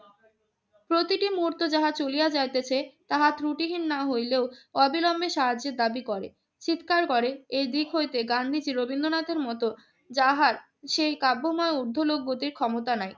প্রতিটি মুহূর্তে যাহা চলিয়া যাইতেছে তাহা ত্রুটিহীন না হইলেও অবিলম্বে সাহায্যের দাবি করে, চিৎকার করে। এই দিক হইতে গান্ধীজি রবীন্দ্রনাথের মত যাহার সেই কাব্যময় ঊর্ধ্বলোক গতির ক্ষমতা নাই।